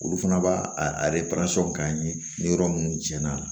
Olu fana b'a a k'an ye ni yɔrɔ minnu jɛn'a la